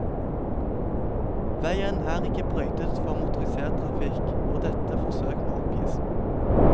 Vegen er ikke brøytet for motorisert trafikk, og dette forsøk må oppgis.